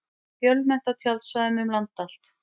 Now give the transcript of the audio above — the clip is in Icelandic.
Fjölmennt á tjaldsvæðum um land allt